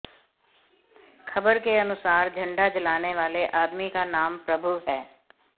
खबर के अनुसार झंडा जलाने वाले आदमी का नाम प्रभु है